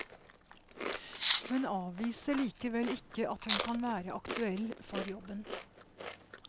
Hun avviser likevel ikke at hun kan være aktuell for jobben.